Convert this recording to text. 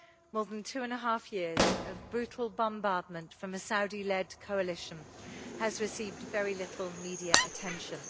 More than two and a half years of brutal bombardment from a Saudi led coalition has received very little media attention.